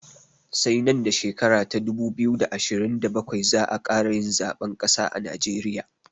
Sai nan da shekara ta dubu biyu da ashirin da bakwai za'a ƙara yin zaɓen ƙasa a najeriya